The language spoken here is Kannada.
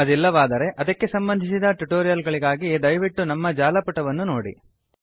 ಅದಿಲ್ಲವಾದರೆ ಅದಕ್ಕೆ ಸಂಬಂಧಿಸಿದ ಟುಟೋರಿಯಲ್ ಗಳಿಗಾಗಿ ದಯವಿಟ್ಟು ನಮ್ಮ ಜಾಲಪುಟ httpspoken tutorialorg ನೋಡಿ